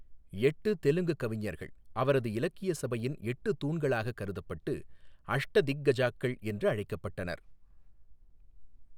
எட்டு தெலுங்குக் கவிஞர்கள் அவரது இலக்கியச் சபையின் எட்டுத் தூண்களாகக் கருதப்பட்டு அஷ்டதிக்கஜாக்கள் என்று அழைக்கப்பட்டனர்.